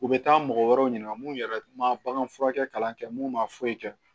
U bɛ taa mɔgɔ wɛrɛw ɲininka minnu yɛrɛ ma bagan furakɛ mun ma foyi kɛ